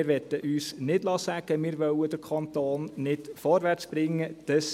Wir möchten uns nicht sagen lassen, wir würden den Kanton nicht vorwärtsbringen wollen;